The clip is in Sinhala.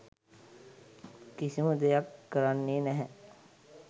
කිසිම දෙයක් කරන්නේ නැහැ